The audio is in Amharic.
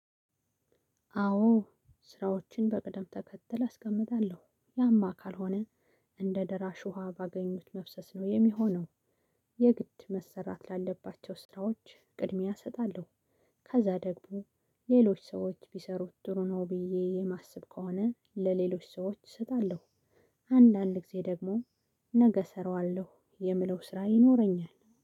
አዎ ስራዎችን በቅደም ተከተል አስቀምጣለሁ። ያማ ካልሆነ እንደ ደራሽ ውሃ ባገኙት መፍሰስ ነው የሚሆነው። የግድ መሰራት ላለባቸው ስራዎች ቅድሚያ እሰጣለሁ። ከዛ ደግሞ ሌሎች ሰዎች ቢሰሩት ጥሩ ነው ብዬ የማስብ ከሆነ ለሌሎች ሰዎች እሰጣለሁ። አንዳንድ ጊዜ ደግሞ ነገ እሰራዋለሁ የምለው ስራ ይኖረኛል